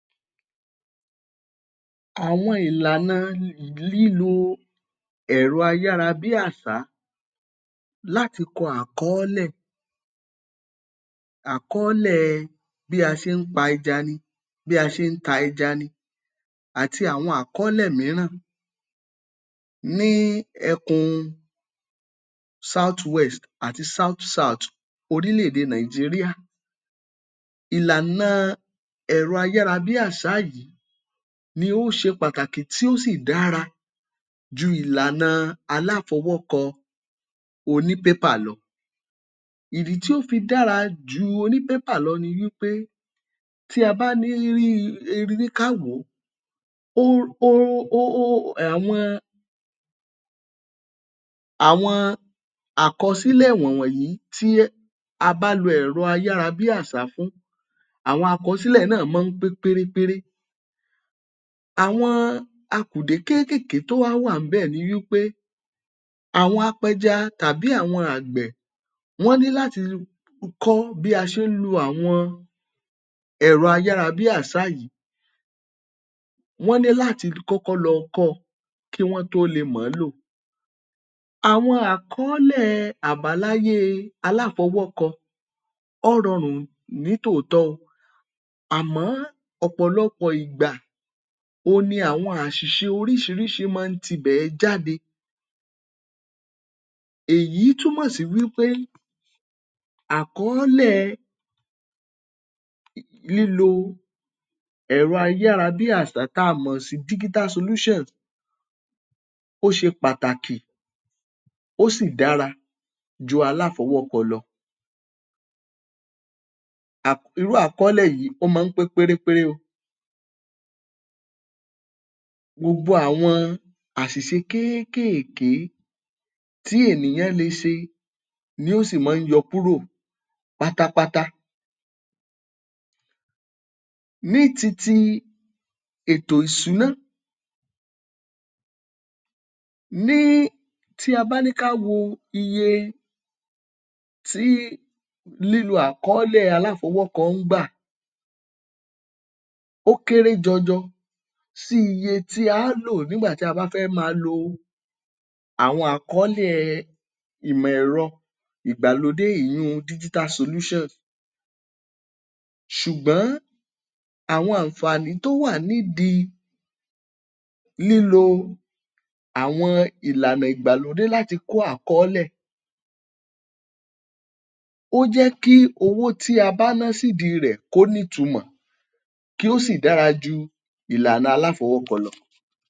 Àwọn ìlànà um lílo ẹ̀rọ ayára-bí-àṣà láti kọ àkọọ́lẹ̀. Àkọọ́lẹ̀ bí a ṣe ń pa ẹja ni, bí a ṣe ń ta ẹja ni, àti àwọn àkọọ́lẹ̀ mírà ní ẹkùn South West àti South South orílẹ̀-èdè Nigeria. Ìlànà ẹ̀rọ ayára-bí-àṣà yìí ló ṣe pàtàkì tó sì dára ju ìlànà aláfọwọ́kọ onípépà lọ. ìdí tí ó fi dára ju onípépà lọ ni wí pé tí a bá ní um ká wò ó um àwọn àwọn àkọsílẹ̀ wọ̀n wọ̀nyí tí a bá lo ẹ̀rọ ayára-bí-àṣá fún, àwọn àkọsílẹ̀ náà máa ń pé péré péré. Àwọn akùdé kéékèèké tó wá wà ńbẹ̀ ni wí pé àwọn apẹja tàbí àwọn àgbẹ̀ wọ́n ní láti kọ́ bí a ṣe ń lo àwọn ẹ̀rọ ayára-bí-àṣá yìí. Wọ́n ní láti kọ́kọ́ lọ kọ́ ọ, kí wọ́n tó le mọ̀ ọ́n lò. Àwọn àkọọ́lẹ̀ àbáláyé e aláfọwọ́kọ ọ́ rọrùn ní tòótọ̀ o àmọ́ ọ̀pọ̀lọpọ̀ ìgbà òn ni àwọn àṣìṣe oríṣiríṣi máa ń tibẹ̀ ẹ́ jáde. Èyí túmọ̀ sí wí pé àkọọ́lẹ̀ lílo ẹ̀rọ ayára-bí-àṣá tí a mọ̀ sí digital solutions ó ṣe pàtàkì, ó sì dára ju aláfọwọ́kọ lọ. um Irú àkọọ́lẹ̀ yìí, ó máa ń pé péré péré o. Gbogbo àwọn àṣìṣe kéékèèké tí ènìyàn le ṣe ló sì máa ń yọ kúrò pátápátá. Ní ti ti ètò ìsúná, ní tí a bá ní ká wo iye tí lílo àkọọ́lẹ̀ aláfọwọ́kọ ń gbà, ó kéré jọjọ sí iye tí a á lò nígbà tí a bá fẹ́ máa lo àwọn àkọọ́lẹ̀ ìgbàlódé, èyiùn digital solutions. Ṣùgbọ́n àwọn àǹfààní tó wà nídìí lílo àwọn ìlànà ìgbàlódé láti kó àkọọ́lẹ̀ ó jẹ́ kí owó tí a bá ná sídìí rẹ̀ kó nítumọ̀, kí ó sì dára ju ìlànà aláfọwọ́kọ lọ.